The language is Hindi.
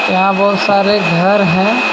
यहां बहुत सारे घर हैं.